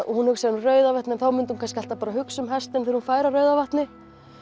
hún hugsar um Rauðavatn en þá myndi hún kannski alltaf hugsa um hestinn þegar hún færi að Rauðavatni